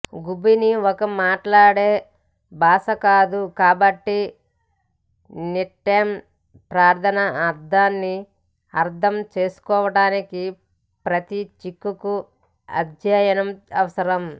గుబీని ఒక మాట్లాడే భాష కాదు కాబట్టి నిట్నేమ్ ప్రార్ధనల అర్ధాన్ని అర్ధం చేసుకోవడానికి ప్రతి సిక్కుకు అధ్యయనం అవసరం